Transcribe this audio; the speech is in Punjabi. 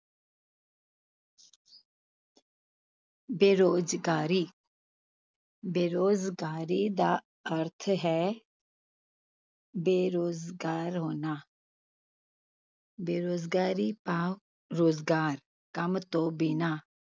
ਬੇਰੁਜ਼ਗਾਰੀ ਬੇਰੁਜ਼ਗਾਰੀ ਦਾ ਅਰਥ ਹੈ ਬੇਰੁਜ਼ਗਾਰ ਹੋਣਾ ਬੇਰੁਜ਼ਗਾਰੀ ਭਾਵ ਰੁਜ਼ਗਾਰ ਕੰਮ ਤੋਂ ਬਿਨਾਂ।